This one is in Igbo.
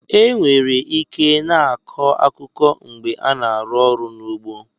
Enwere ike i na-akọ akụkụ mgbe a na-arụ ọrụ n'ugbo.